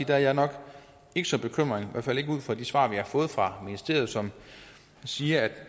der er jeg nok ikke så bekymret i hvert fald ikke ud fra de svar vi har fået fra ministeriet som siger at